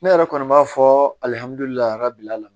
Ne yɛrɛ kɔni b'a fɔ alihamdulilayi bi ala la